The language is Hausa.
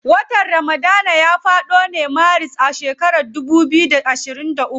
Watan ramadana ya fado ne maris a shekaran dubu biyu da ashirin uku.